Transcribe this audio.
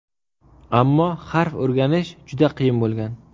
Ammo harf o‘rganish juda qiyin bo‘lgan.